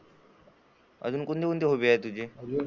अजून कोणते कोणते? हॉबी आहे तुझी?